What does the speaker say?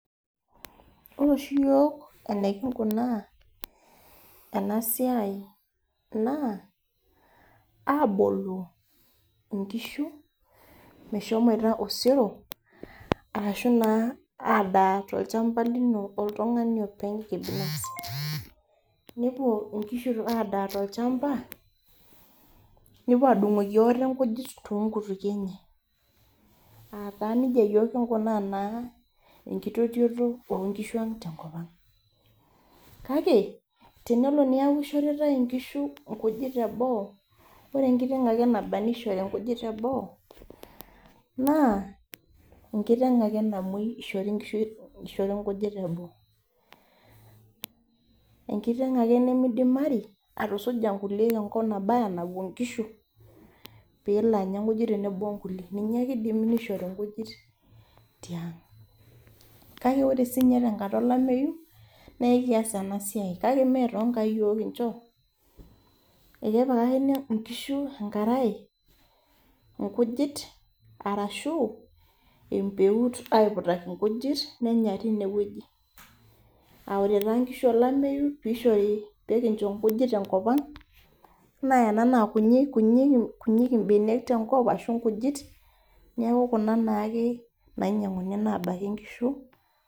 Ore oshi yiok enikinkunaa ena siai naa aboloo nkishu meshomoito osero ashu adaa tolchampa lino oltungani openy kibinafsi .nepuo nkishu aadanya tolchampa nepuo adungoki ate nkujit toonkutukie enye aata taa nejia kinkunaa yiok enkitotioto enkishui tenkopang. kake tenelo metaa kishoitae nkishu nkujit teboo naa ore enkiteng naishoru nkujit teboo naa enkiteng ake namwoi eishori nkujit teboo ,enkiteng ake nimidimari ashomo enkop napuo nkishu pee elo anya nkujit , ninye ake eidimi nishori nkujit tiang ,kake ore sii ninye tenkata olemeyu naa ekias ena siai kake mee toonkaek yiok kincho kepikakini nkishu enkarae orashu empeut aipuitaki nkishu nenya tineweji.aa ore taa nkishu olameyu pee eishori nkujit tenkopang naa Kuna kunyik mbenek tenkop ashu nkujit neeku Kuna naake nainyanguni nabaiki nkishu.